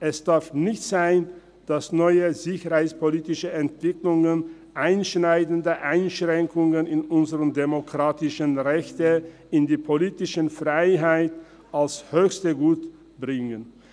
Es darf nicht sein, dass neue sicherheitspolitische Entwicklungen einschneidende Einschränkungen unserer demokratischen Rechte und politischen Freiheiten als höchstes Gut mit sich bringen.